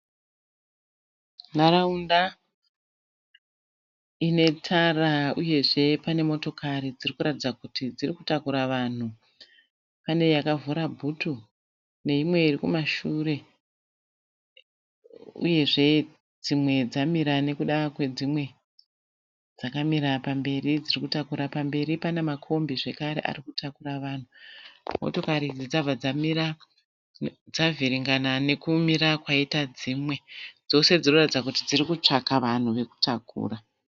Nharaunda ine tara uyezve pane motokari dziri kuratidza kuti dziri kutakura vanhu. Pane yakavhura bhutu. Neimwe iri kumashure uyezve dzimwe dzamira nekuda kwedzimwe, dzakamira pamberi dziri kutakura pamberi. Pamberi pana makombi zvakare ari kutakura vanhu. Motikari idzi dzabva dzamira, dzavhiringana nekumira kwaita dzimwe. Dzose dziri kuratidza kuti dziri kutsvaga vanhu vekutakura